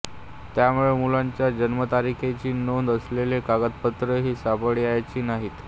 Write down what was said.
त्यामुळे मुलांच्या जन्मतारखेची नोंद असलेली कागदपत्रेही सापडायची नाहीत